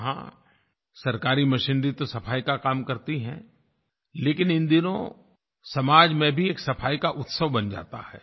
वहाँ सरकारी मशीनरी तो सफाई का काम करती है लेकिन इन दिनों समाज में भी एक सफाई का उत्सव बन जाता है